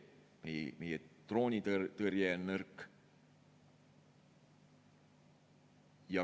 Meie droonitõrje on nõrk.